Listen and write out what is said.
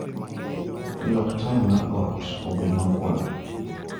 lok taya mar ot obed makwar